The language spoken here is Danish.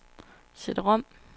CD-rom